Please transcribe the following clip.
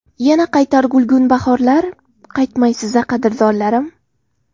Yana qaytar gulgun bahorlar... Qaytmaysiz a, qadrdonlarim?